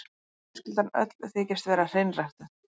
Fjölskyldan öll þykist vera hreinræktuð.